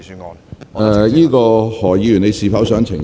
何君堯議員，你是否想澄清？